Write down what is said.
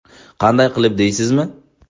Qanday qilib deysizmi?